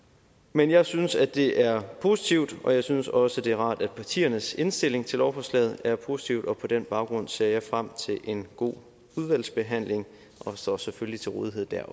men jeg synes at det er positivt og jeg synes også at det er rart at partiernes indstilling til lovforslaget er positiv og på den baggrund ser jeg frem til en god udvalgsbehandling og står selvfølgelig til rådighed